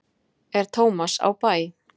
er tómas á bæ